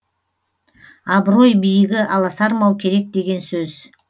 абырой биігі аласармау керек деген сөз